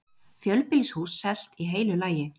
Fjölbýlishús selt í heilu lagi